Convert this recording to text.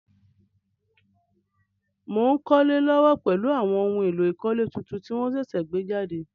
Mo n kólé lówó pèlu àwon oun éló ìkólé tuntun ti won sẹ̀sẹ̀ gbé jàde